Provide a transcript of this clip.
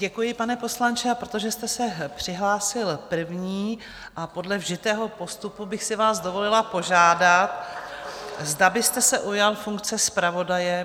Děkuji, pane poslanče, a protože jste se přihlásil první, podle vžitého postupu bych si vás dovolila požádat, zda byste se ujal funkce zpravodaje.